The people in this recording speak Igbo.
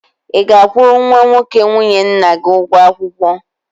Ị ga-akwụrụ nwa nwoke nwunye nna gị ụgwọ akwụkwọ?